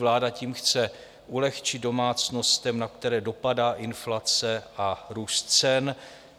Vláda tím chce ulehčit domácnostem, na které dopadá inflace a růst cen.